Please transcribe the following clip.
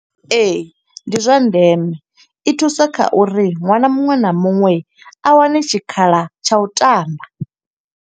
Ee, ndi zwa ndeme. I thusa kha uri ṅwana muṅwe na muṅwe, a wane tshikhala tsha u tamba.